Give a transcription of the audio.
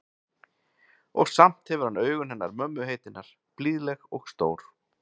Og samt hefur hann augun hennar mömmu heitinnar, blíðleg og stór.